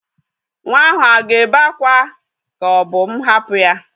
Nwa ahụ a ga-ébé akwa ka o bu m hapu ya?